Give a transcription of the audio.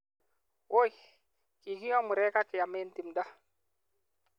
WOI, kikioo murek ak keam eng timdo.''